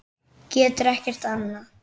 Getur ekkert annað.